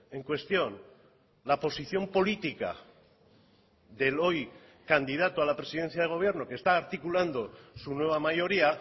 en cuestión la posición política del hoy candidato a la presidencia del gobierno que está articulando su nueva mayoría